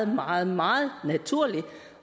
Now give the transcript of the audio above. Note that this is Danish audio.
meget meget naturligt